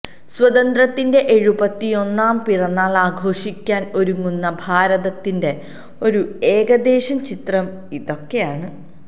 സ്വാതന്ത്ര്യത്തിന്റെ എഴുപത്തിയൊന്നാം പിറന്നാള് ആഘോഷിക്കാന് ഒരുങ്ങുന്ന ഭാരതത്തിന്റെ ഒരു ഏകദേശ ചിത്രം ഇതൊക്കെയാണ്